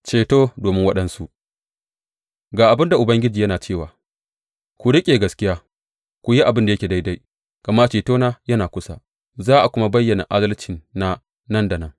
Ceto domin waɗansu Ga abin da Ubangiji yana cewa, Ku riƙe gaskiya ku yi abin da yake daidai, gama cetona yana kusa za a kuma bayyana adalcina nan da nan.